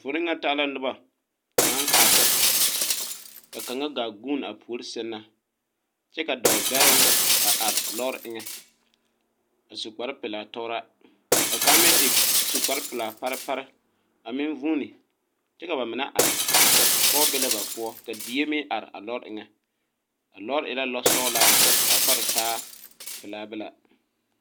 Poliŋa taa la noba naŋ are ka kaŋa gaa vuuni a puori sɛŋ na kyɛ ka dɔɔ bɛroŋ a are lɔre eŋɛ a su kpare pelaa tɔɔra ka kaŋa meŋ e su kpare pelaa parepare a meŋ vuuni kyɛ ka ba mine are pɔge be la ba poɔ ka die meŋ are a lɔre eŋɛ a lɔre e la lɔsɔglaa ka pare pelaa bela.